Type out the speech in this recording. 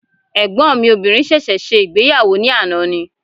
Ẹ̀gbọ́n mi obìnrin sẹ̀sẹ̀ ṣe ìgbéyàwó ní àná ni